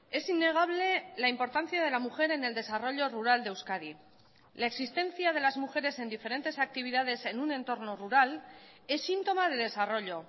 es innegable la importancia de la mujer en el desarrollo rural de euskadi la existencia de las mujeres en diferentes actividades en un entorno rural es síntoma de desarrollo